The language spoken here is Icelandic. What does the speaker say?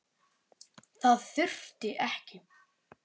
Það þurfti ekki.